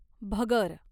भगर